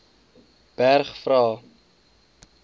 berg vra